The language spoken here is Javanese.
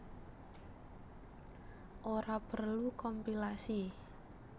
Ora perlu kompilasi